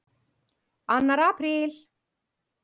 ANNAR APRÍL